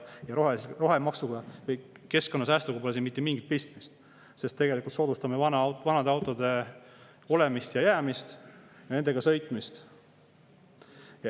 Rohemaksuga või keskkonnasäästuga pole siin mitte mingit pistmist, sest tegelikult me soodustame vanade autode jäämist ja nendega sõitmist.